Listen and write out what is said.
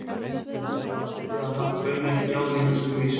Já, haldið þið að hann bauni ekki á mig þessari vísu?